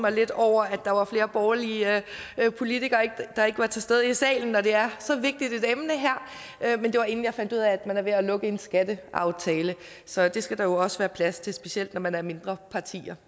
mig lidt over at der var flere borgerlige politikere der ikke var til stede i salen når det her er så vigtigt et emne men det var inden jeg fandt ud af at man er ved at lukke en skatteaftale så det skal der jo også være plads til specielt når man er mindre partier